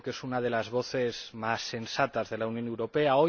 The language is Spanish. Creo que es una de las voces más sensatas de la Unión Europea.